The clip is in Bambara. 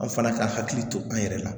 An fana ka hakili to an yɛrɛ la